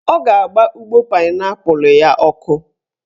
Ọ ga-agba ụgbọ painaipu ya ọkụ